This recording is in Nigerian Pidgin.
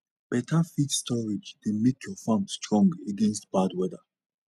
better feed storage dey make your farm strong against bad weather